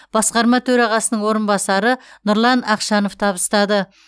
басқарма төрағасының орынбасары нұрлан ақшанов табыстады